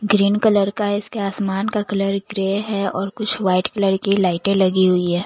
Green colour का है इसके आसमान का कलर ग्रे है और कुछ व्हाइट कलर की लाइटें लगी हुई है।